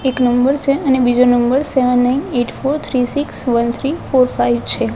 એક નંબર છે અને બીજો number seven nine eight four three six one three four five છે.